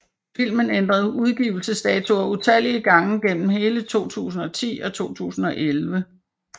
Filmen ændrede udgivelsesdatoer utallige gange gennem hele 2010 og 2011